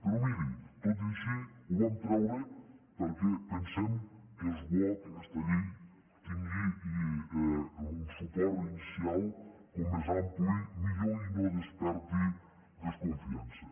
però miri tot i així ho vam treure perquè pensem que és bo que aquesta llei tingui un suport inicial com més ampli millor i no desperti desconfiança